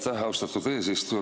Aitäh, austatud eesistuja!